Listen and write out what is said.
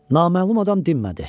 Naməlum adam dinmədi.